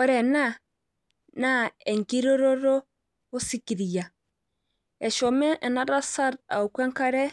ore ena naa enkirototo soikiria. eshomo ena tasat aoku enkare